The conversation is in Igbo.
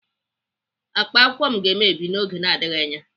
Akpa akwụkwọ m ga-emebi n'oge na-adịghị anya.